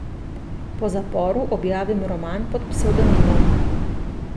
Po zaporu objavim roman pod psevdonimom.